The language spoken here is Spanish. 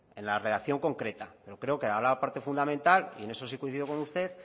en la redacción concreta pero creo que ahora la parte fundamental y en eso sí coincido con usted